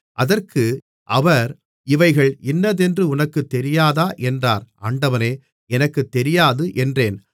அதற்கு அவர் இவைகள் இன்னதென்று உனக்குத் தெரியாதா என்றார் ஆண்டவனே எனக்குத் தெரியாது என்றேன்